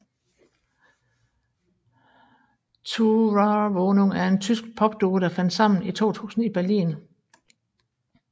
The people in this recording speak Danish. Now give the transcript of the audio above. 2raumwohnung er en tysk popduo der fandt sammen i 2000 i Berlin